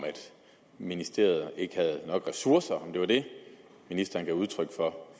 ministeriet ikke har nok ressourcer om det var det ministeren gav udtryk for